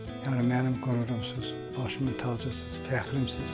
Yəni mənim qürurumsunuz, başımın tacısınız, fəxrimsiniz.